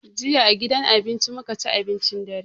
Jiya a gidan abinci mu ka ci abincin dare.